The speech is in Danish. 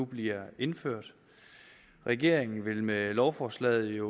bliver indført regeringen vil med lovforslaget